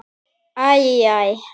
Æ. æ.